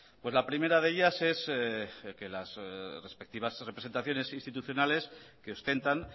pues la primera de ellas es que las respectivas representaciones institucionales que ostentan